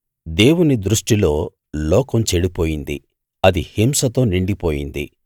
దేవుని దృష్టిలో లోకం చెడిపోయింది అది హింసతో నిండిపోయింది